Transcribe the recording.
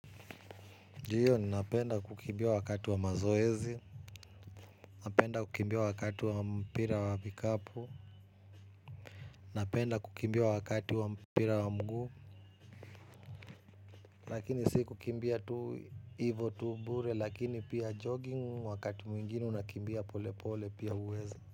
Ndiyo ni napenda kukimbia wakati wa mazoezi, napenda kukimbia wakati wa mpira wa bikapu, napenda kukimbia wakati wa mpira wa mguu, lakini si kukimbia tu ivo tu bure lakini pia jogging wakati mwingine unakimbia pole pole pia uwezi.